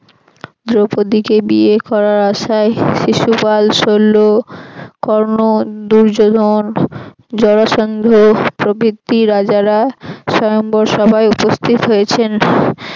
দ্রৌপদীকে বিয়ে করার আশায় শিশুপাল শৈল কর্ণ দুর্যোধন জড়াসন্ধ প্রভৃতি রাজারা সয়ম্বর সভায় উপস্থিত হয়েছেন